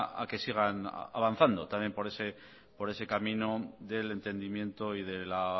a que sigan avanzando por ese camino del entendimiento y la